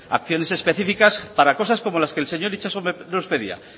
acciones específicas para cosas como las que el señor itxaso nos pedía